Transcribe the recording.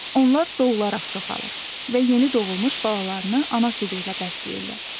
Onlar doğularaq çoxalır və yeni doğulmuş balalarını ana südü ilə bəsləyirlər.